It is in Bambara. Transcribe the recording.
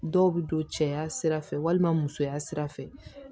Dɔw bɛ don cɛya sira fɛ walima musoya sira fɛ